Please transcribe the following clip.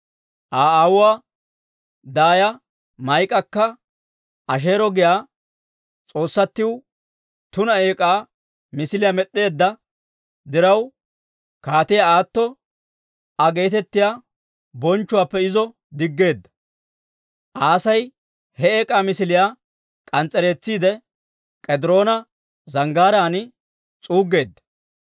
Aa aawuwaa daaya Maa'ikakka Asheero giyaa s'oossatiw tuna eek'aa misiliyaa med'd'eedda diraw, Kaatiyaa Aatto Aa geetettiyaa bonchchuwaappe izo diggeedda. Aasi he eek'aa misiliyaa k'ans's'ereetsiide, K'ediroona Zanggaaraan s'uuggeedda.